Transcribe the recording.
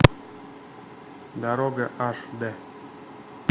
дорога аш д